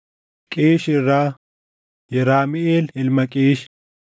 Qiish irraa: Yeramiʼeel ilma Qiish.